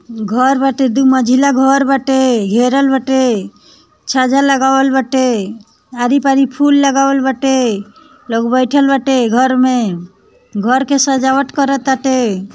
घर बाटे दुह मंजिला घर बाटे घेरल बाटे छज्जा लगावल बाटे हरी भरी फूल लगावल बाटे लोग बैठे बाटे घर में घर के सजावट करत टाटे।